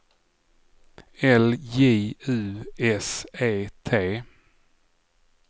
L J U S E T